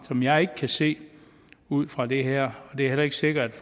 som jeg ikke kan se ud fra det her det er heller ikke sikkert